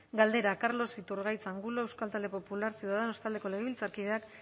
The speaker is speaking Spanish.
galdera carlos iturgaiz angulo euskal talde popular ciudadanos taldeko legebiltzarkideak